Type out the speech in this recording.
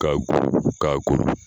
Ka .